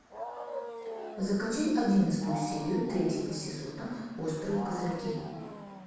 закачай одиннадцатую серию третьего сезона острые козырьки